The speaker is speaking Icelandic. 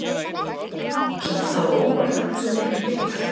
Kemur það á óvart að hann skuli ekki byrja?